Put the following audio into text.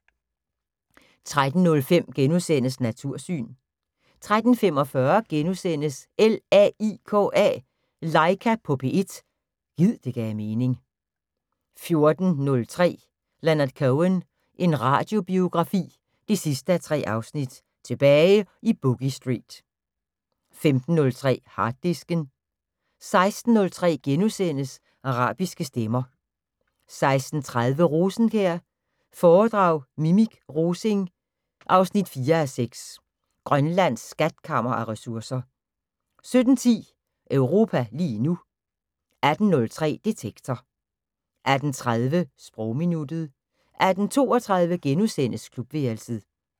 13:03: Natursyn * 13:45: LAIKA på P1 – gid det gav mening * 14:03: Leonard Cohen – en radiobiografi 3:3: Tilbage i Boogie Street 15:03: Harddisken 16:03: Arabiske stemmer * 16:30: Rosenkjær foredrag Minik Rosing 4:6 Grønlands skatkammer af ressourcer 17:10: Europa lige nu 18:03: Detektor 18:30: Sprogminuttet 18:32: Klubværelset *